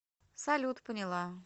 салют поняла